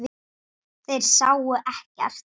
Þeir sáu ekkert.